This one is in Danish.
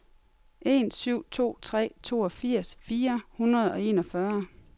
en syv to tre toogfirs fire hundrede og enogfyrre